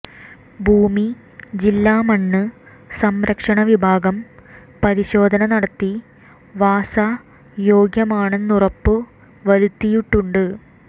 ഭൂമി ജില്ലാ മണ്ണ് സംരക്ഷണ വിഭാഗം പരിശോധന നടത്തി വാസ യോഗ്യമാണെന്നുറപ്പുവരുത്തിയിട്ടുണ്ട്